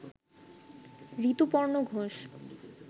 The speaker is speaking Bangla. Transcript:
ঋতুপর্ণ ঘোষ